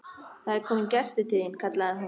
Það er kominn gestur til þín, kallaði hún.